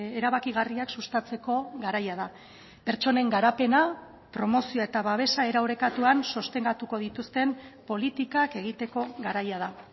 erabakigarriak sustatzeko garaia da pertsonen garapena promozioa eta babesa era orekatuan sostengatuko dituzten politikak egiteko garaia da